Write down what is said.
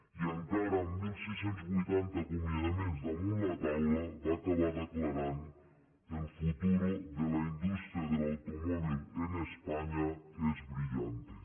i encara amb setze vuitanta acomiadaments damunt la taula va acabar declarant el futuro de la industria del automóvil en españa es brillante